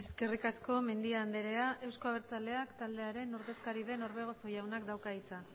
eskerrik asko mendia andrea euzko abertzaleak taldearen ordezkari den orbegozo jaunak dauka hitza